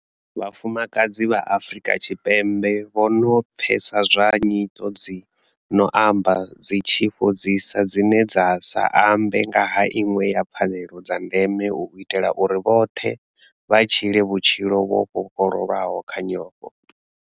Vhafumakadzi vha Afrika Tshipembe vho no pfesa zwa nyito dzi no amba dzi tshi fhodzisa dzine dza sa ambe nga ha iṅwe ya pfanelo dza ndeme u itela uri vhoṱhe vha tshile vhutshilo vho vhofhololwa kha nyofho.